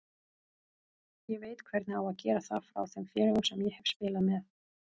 Ég veit hvernig á að gera það frá þeim félögum sem ég hef spilað með.